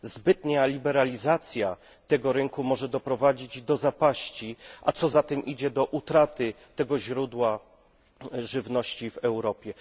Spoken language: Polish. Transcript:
Zbytnia liberalizacja tego rynku może doprowadzić do zapaści, a co za tym idzie do utraty tego źródła żywności w Europie.